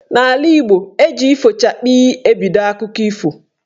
N'ala Igbo, eji "ifochakpi" ebido akụkọ ife.